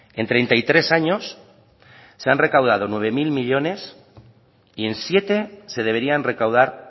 en treinta y tres años se han recaudado nueve mil millónes y en siete se deberían recaudar